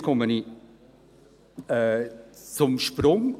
Und jetzt komme ich zum Sprung: